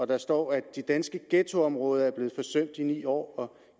der står at de danske ghettoområder er blevet forsømt i ni år og